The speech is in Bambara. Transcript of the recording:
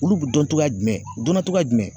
Olu be dɔn togoya jumɛn? U dɔnna togoya jumɛn?